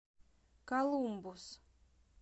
колумбус